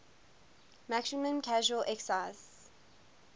maximum casual excise